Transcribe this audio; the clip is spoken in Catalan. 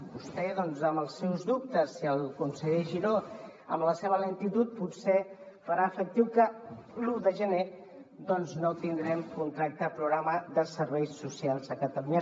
vostè doncs amb els seus dubtes i el conseller giró amb la seva lentitud potser faran efectiu que l’un de gener doncs no tindrem contracte programa de serveis socials a catalunya